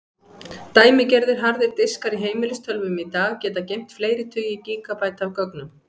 Dæmigerðir harðir diskar í heimilistölvum í dag geta geymt fleiri tugi gígabæta af gögnum.